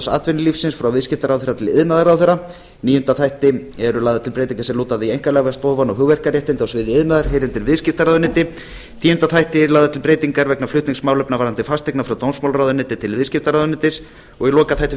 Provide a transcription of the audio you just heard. atvinnulífsins frá viðskiptaráðherra til iðnaðarráðherra í níunda þætti eru lagðar til breytingar sem lúta að því að einkaleyfastofan og hugverkaréttindi á sviði iðnaðar heyri undir viðskiptaráðuneytið í tíunda þætti eru lagðar til breytingar vegna flutnings málefna varðandi fasteignir frá dómsmálaráðuneyti til viðskiptaráðuneytis í lokaþætti